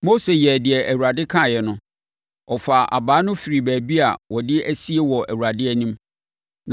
Mose yɛɛ deɛ Awurade kaeɛ no. Ɔfaa abaa no firii baabi a wɔde asie wɔ Awurade anim,